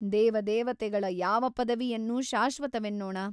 ದೇವ ದೇವತೆಗಳ ಯಾವ ಪದವಿಯನ್ನು ಶಾಶ್ವತವೆನ್ನೋಣ ?